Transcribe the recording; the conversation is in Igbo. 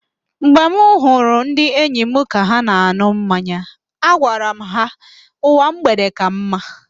Mgbe m hụrụ ndị enyi m ka ha na-an̄ụ mmanya, agwara m ha, "ụwa mgbede ka mma"